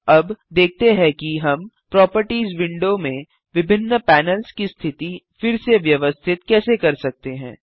अब देखते हैं कि हम प्रोपर्टिज विंडो में विभिन्न पैनल्स की स्थिति फिर से व्यवस्थित कैसे कर सकते हैं